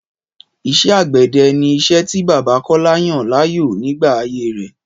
Ìṣe àgbẹ̀dẹ ni iṣẹ́ tí bàbá Kọ́lá yàn láàyò nígbà ayé rẹ́